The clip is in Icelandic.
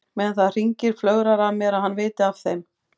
Meðan það hringir flögrar að mér að hann viti af þeim.